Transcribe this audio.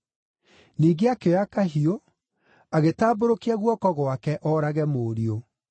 Ningĩ akĩoya kahiũ, agĩtambũrũkia guoko gwake, oorage mũriũ.